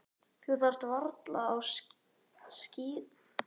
Þú þarft varla á skíðagleraugum að halda í þessari ferð.